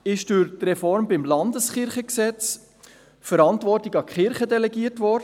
Bei der JGK ist durch die Reform des Landeskirchengesetzes die Verantwortung an die Landeskirchen delegiert worden.